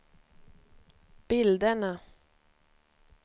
bilderna